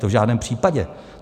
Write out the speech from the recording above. To v žádném případě.